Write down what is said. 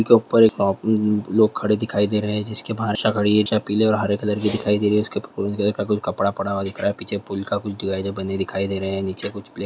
उसके पर एक लोग खड़े दिखाई दे रहे है जिसकी भाषा खड़ी है जहा पीले और हरे कलर की दिखाई दे रही है उसके ऊपर कोई कपड़ा पड़ा हुआ दिख रहा है पीछे पूल बंदे दिख रहे है नीचे कुछ ।